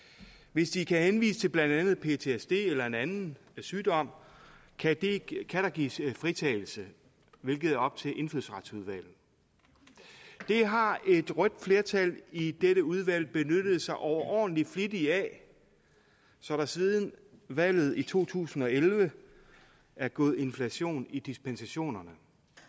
hvis de kan henvise til blandt andet ptsd eller en anden sygdom kan der gives fritagelse hvilket er op til indfødsretsudvalget det har et rødt flertal i dette udvalg benyttet sig overordentlig flittigt af så der siden valget i to tusind og elleve er gået inflation i dispensationerne